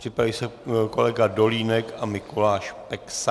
Připraví se kolega Dolínek a Mikuláš Peksa.